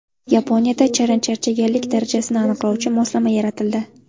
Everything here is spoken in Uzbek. Yaponiyada charchaganlik darajasini aniqlovchi moslama yaratildi.